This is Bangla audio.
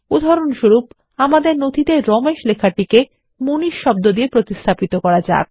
উদাহরণস্বরূপ আমাদের নথিতে রমেশ লেখাটিকে মানিশ দিয়ে প্রতিস্থাপিত করা যাক